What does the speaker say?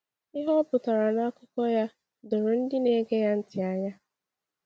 Ihe o pụtara n’akụkọ ya doro ndị na-ege ya ntị anya.